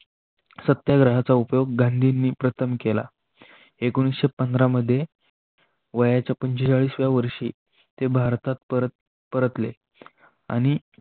चा उपयोग गांधींनी प्रथम केला एकोणविशे पंधर मध्ये वयाच्या पंचेचाळीस व्या वर्षी ते भारतात परतले आणि लवक